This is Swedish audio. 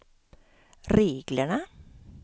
reglerna